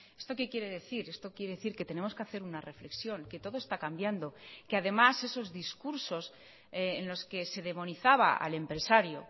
esto qué quiere decir esto quiere decir que tenemos que hacer una reflexión que todo está cambiando que además esos discursos en los que se demonizaba al empresario